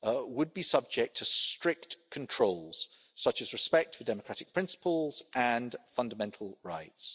would be subject to strict controls such as respect for democratic principles and fundamental rights.